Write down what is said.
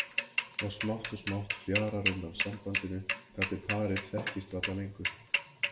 Og smátt og smátt fjarar undan sambandinu þar til parið þekkist varla lengur.